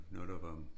Når der var